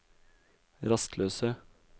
rastløse